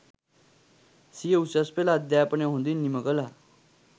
සිය උසස් පෙළ අධ්‍යාපනය හොඳින් නිම කළා